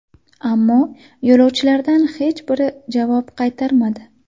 Ammo yo‘lovchilardan hech biri javob qaytarmadi.